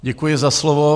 Děkuji za slovo.